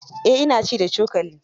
Eh ina ci da cokali.